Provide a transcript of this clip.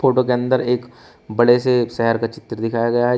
अंदर एक बड़े से एक शहर का चित्र दिखाया गया है।